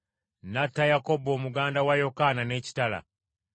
N’atta Yakobo muganda wa Yokaana n’ekitala.